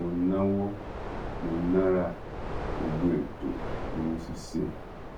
mo náwó mo nára gbogbo ètò ni mo sì ṣe